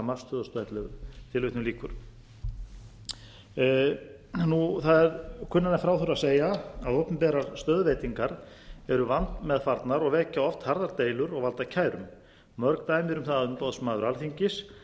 mars tvö þúsund og ellefu það er kunnara en frá þurfi að segja að opinberar stöðuveitingar eru vandmeðfarnar og vekja oft harðar deilur og valda kærum mörg dæmi eru um það að umboðsmaður alþingis